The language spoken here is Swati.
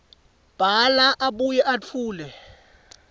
bhala abuye etfule